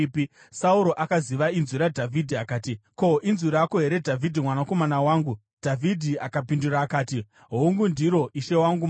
Sauro akaziva inzwi raDhavhidhi akati, “Ko, inzwi rako here Dhavhidhi mwanakomana wangu?” Dhavhidhi akapindura akati, “Hongu ndiro, ishe wangu mambo.”